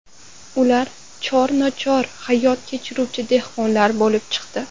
Ular chor-nochor hayot kechiruvchi dehqonlar bo‘lib chiqdi.